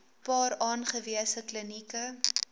paar aangewese klinieke